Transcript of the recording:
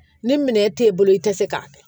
Ni minɛn t'e bolo i tɛ se k'a kɛ